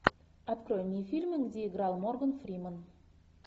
открой мне фильмы где играл морган фримен